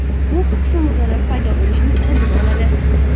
Bu husnbuzarlar paydo bo‘lishining oldini oladi.